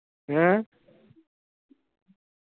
ਹੈਂ ।